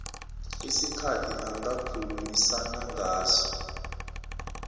isikhathi angakhulumisana ngaso